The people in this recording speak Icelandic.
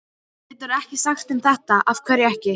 Geturðu ekki sagt þeim þetta. af hverju ekki?